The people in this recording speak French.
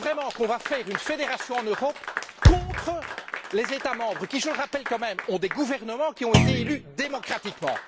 qu'on va faire une fédération en Europe contre les États membres qui, je le rappelle quand même, ont des gouvernements qui ont été élus démocratiquement?